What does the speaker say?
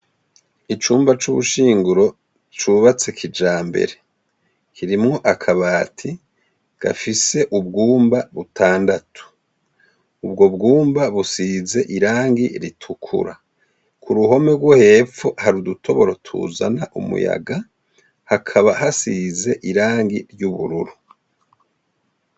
Icumba c'ubushinguro cubatswe kijambere, harimwo akabati gafise ubwumba batandatu. Ubwo bwumba busize irangi ritukura, k'uruhome rwo hepfo, hari udutoboro tuzana umuyaga hakaba hasize irangi ry'ubururu.